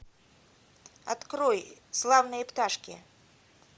открой славные пташки